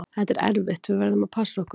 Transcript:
Þetta er erfitt, við verðum að passa okkur.